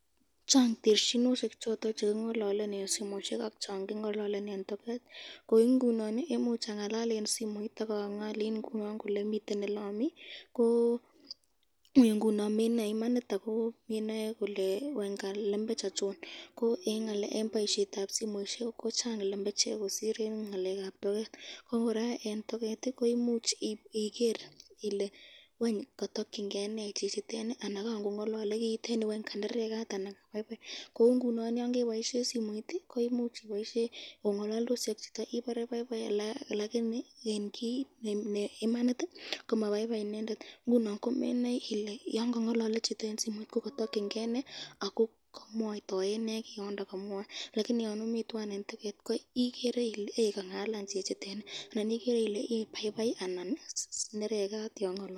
Chang terchinoshek choton chekingololen eng simoisyek, ak chan kingalalen eng toket, eng simoisyek koimuch kobit ngalset lakini eng token ko ui kobit ngalset.